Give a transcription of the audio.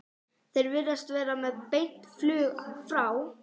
Þeir virðast vera með beint flug frá